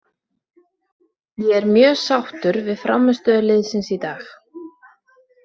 Ég er mjög sáttur við frammistöðu liðsins í dag.